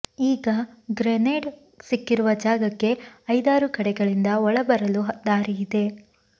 ಈಗ ಗ್ರೆನೇಡ್ ಸಿಕ್ಕಿರುವ ಜಾಗಕ್ಕೆ ಐದಾರು ಕಡೆಗಳಿಂದ ಒಳಬರಲು ದಾರಿ ಇದೆ